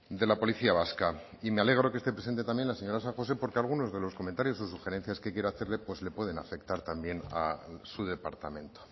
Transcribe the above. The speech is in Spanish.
de la policía vasca y me alegro que esté presente también la señora san josé porque algunos de los comentarios o sugerencias que quiero hacerle pues le pueden afectar también a su departamento